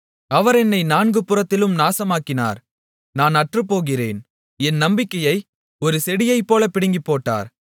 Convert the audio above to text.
அவர் என்னை நான்கு புறத்திலும் நாசமாக்கினார் நான் அற்றுப்போகிறேன் என் நம்பிக்கையை ஒரு செடியைப்போலப் பிடுங்கிப்போட்டார்